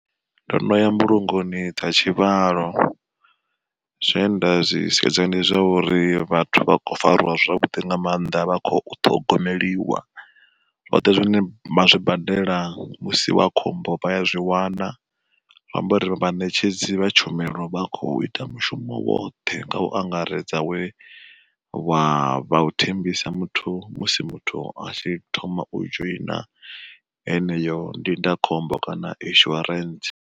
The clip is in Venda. Ndono ya mbulungoni dza tshivhalo, zwe nda zwi sedza ndi zwa uri vhathu vha khou fariwa zwavhuḓi nga maanḓa, vha kho ṱhogomeliwa zwoṱhe zwine vha zwi badela musi wa khombo vha ya zwi wana, zwi amba uri vhaṋetshedzi vha tshumelo vha khou ita mushumo woṱhe nga u angaredza we wa vha u thembisa muthu musi muthu a tshi thoma u dzhoina eneyo ndindakhombo kana inishuarentse.